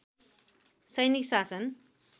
सैनिक शासन